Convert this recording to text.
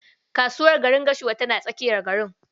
Kasuwar gwarin Gashuwa tana tsakiyar garin.